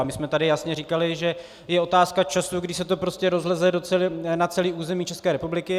A my jsme tady jasně říkali, že je otázkou času, kdy se to prostě rozleze na celé území České republiky.